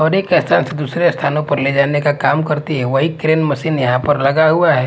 और एक स्थान से दूसरे स्थानों पर ले जाने का काम करती हैं वहीं क्रेन मशीन यहां पर लगा हुआ है।